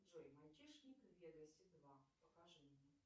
джой мальчишник в вегасе два покажи мне